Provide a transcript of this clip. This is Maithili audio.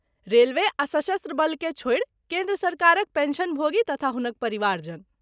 रेलवे आ सशस्त्र बलकेँ छोड़ि केन्द्र सरकारक पेंशनभोगी तथा हुनक परिवारजन।